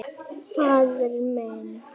Faðir minn.